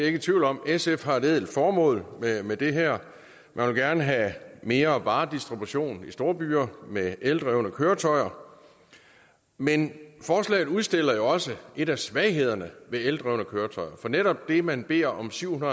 ikke i tvivl om sf har et ædelt formål med med det her man vil gerne have mere varedistribution i storbyer med eldrevne køretøjer men forslaget udstiller jo også en af svaghederne ved eldrevne køretøjer netop det at man beder om syv